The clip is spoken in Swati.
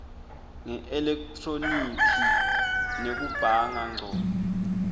ngeelekhthronikhi nekubhanga ngco